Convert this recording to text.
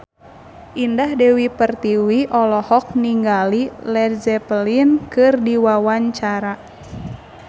Indah Dewi Pertiwi olohok ningali Led Zeppelin keur diwawancara